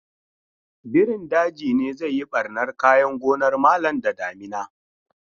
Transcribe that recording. Birin daji ne zai yi ɓarnan kayan gonar malam da damina